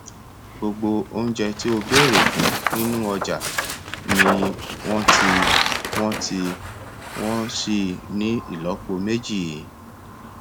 gbogbo oúnjẹ tí o béèrè fún nínú ọjà ni wọn ti wọn ti wọn síi ní ìlọpo méjì